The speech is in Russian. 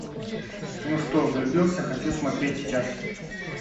ну что влюбился хочу смотреть сейчас